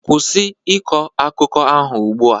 Kwụsị ịkọ akụkọ ahụ ugbu a.